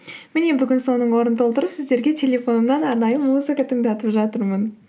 міне бүгін соның орнын толтырып сіздерге телефонымнан арнайы музыка тыңдатып жатырмын